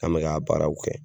An mɛ ka a baaraw kɛ.